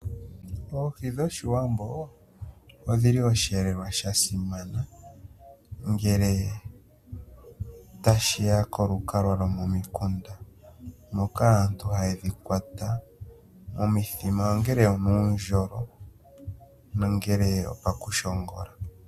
Oohi dhoshiwambo odhili oshihelelwa shasimana ngele tashiya kolukalwa lomomikunda moka aantu hayedhikwata momithima ongele onuundjolo nongele opakushongula.